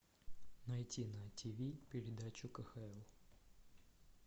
найти на тиви передачу кхл